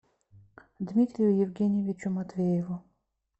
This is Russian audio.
дмитрию евгеньевичу матвееву